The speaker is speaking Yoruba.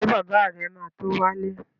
Ṣé bàbá rẹ̀ ma tó wálé?